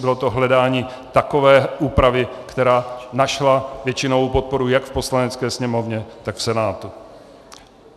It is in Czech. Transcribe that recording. Bylo to hledání takové úpravy, která našla většinovou podporu jak v Poslanecké sněmovně, tak v Senátu.